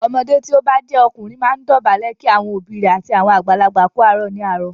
Ọmọdé tí o bá jẹ́ ọkùnrin máa ń dọ̀bálẹ̀ kí àwọn òbí rẹ̀ àti àwọn àgbàlagbà kú àárọ̀ ní àárọ̀.